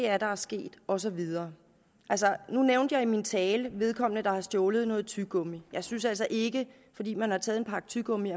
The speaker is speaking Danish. er der er sket og så videre altså nu nævnte jeg i min tale vedkommende der har stjålet noget tyggegummi og jeg synes altså ikke at fordi man har taget en pakke tyggegummi